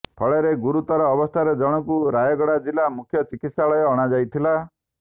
ଫଳରେ ଗୁରୁତର ଅବସ୍ଥାରେ ଜଣଙ୍କୁ ରାୟଗଡା ଜିଲ୍ଲା ମୁଖ୍ୟ ଚିକିତ୍ସାଳୟ ଅଣାଯାଇଥିଲା